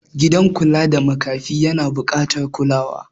gidan kula da makafi yana bukatar kula